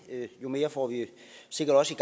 jo mere får vi sikkert også i